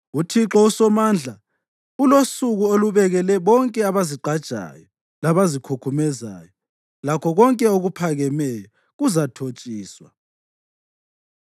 UThixo uSomandla ulosuku alubekele bonke abazazigqajayo labazikhukhumezayo; lakho konke okuphakemeyo (kuzathotshiswa),